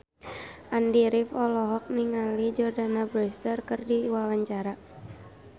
Andy rif olohok ningali Jordana Brewster keur diwawancara